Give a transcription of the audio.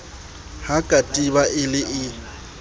ha katiba e le e